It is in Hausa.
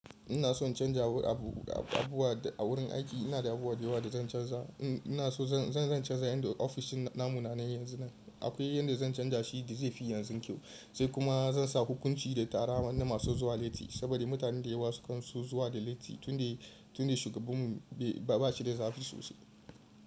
Ina son canza abu a gurin aiki. Ina da abubuwa da yawa da zan canza. Ina so zan canza yayin da ofishin na munanan yanzu nan. Akwai yanda zan canja shi da zai fi yanzu kyau, sai kuma zan sa hukunci da tara na masu zuwa latti saboda mutane da yawa sukan so zuwa da latti tunda shugabun mu ba shi da zafi sosai.